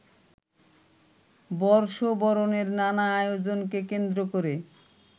বর্ষবরণের নানা আয়োজনকে কেন্দ্র করে